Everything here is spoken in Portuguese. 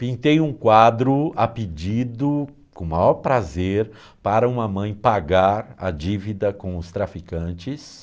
Pintei um quadro a pedido, com o maior prazer, para uma mãe pagar a dívida com os traficantes.